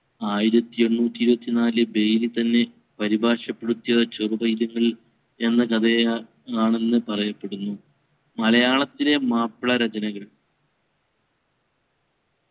ആയിരത്തി എണ്ണൂറ്റി ഇരുപത്തി നാലിൽ ബെയ്‌ലി തന്നെ പരിഭാഷപ്പെടുത്തിയ ചെറുപൈതങ്ങൾ എന്ന കഥയെ അ ആണെന്ന് പറയപ്പെടുന്നു മലയാളത്തിലെ മാപ്പിള രചനകൾ